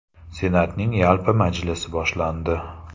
Senatning yalpi majlisi boshlandi.